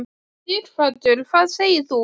Sighvatur: Hvað segir þú?